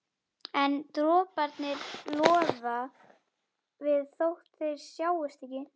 En droparnir loða við þótt þeir sjáist ekki.